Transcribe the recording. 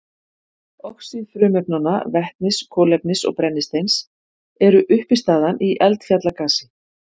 Oxíð frumefnanna vetnis, kolefnis og brennisteins eru uppistaðan í eldfjallagasi.